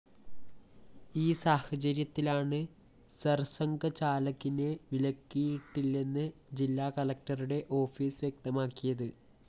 ഈ സാഹചര്യത്തിലാണ് സര്‍സംഘചാലകിനെ വിലക്കിയിട്ടില്ലെന്ന് ജില്ലാകളക്ടറുടെ ഓഫീസ്‌ വ്യക്തമാക്കിയത്